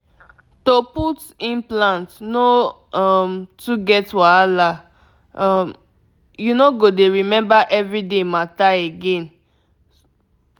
to put implant no um too get wahala um — you no go dey remember everyday matter again small pause.